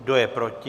Kdo je proti?